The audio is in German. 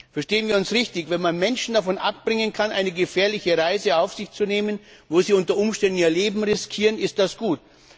Verstehen wir uns richtig Wenn man Menschen davon abbringen kann, eine gefährliche Reise auf sich zu nehmen, bei der sie unter Umständen ihr Leben riskieren, ist das gut.